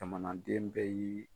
Jamanaden bɛɛ y'i